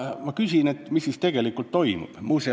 Ma küsin: mis siis tegelikult toimub?